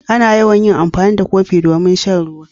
Ana yawan yin amfani da kofi domin shan ruwa.